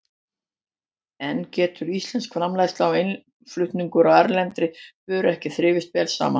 En getur íslensk framleiðsla og innflutningur á erlendri vöru ekki þrifist vel saman?